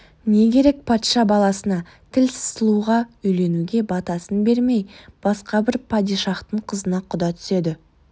не керек патша баласына тілсіз сұлуға үйленуге батасын бермей басқа бір падишахтың қызына құда түседі